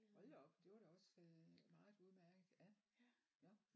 Hold da op det var da også øh meget udmærket ja nåh